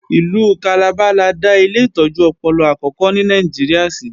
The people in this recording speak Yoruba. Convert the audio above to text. Ìlú Calabar la dá ilé ìtọ́jú ọpọlọ àkókò ní Nàìjíríà sí